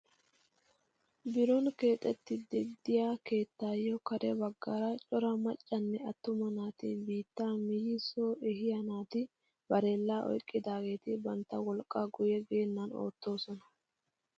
Biron keexettiidi de'iyaa keettayoo kare baggaara cora maccanne attuma naati biittaa miyi soo ehiyaa naati barellaa oyqqidaageti bantta wolqqaan guye geennan oottoosona!